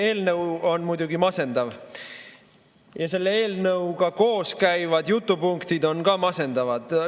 Eelnõu on muidugi masendav ja selle eelnõuga koos käivad jutupunktid on ka masendavad.